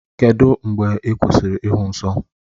Kedụ mgbe ị kwụsịrị ịhụ nsọ?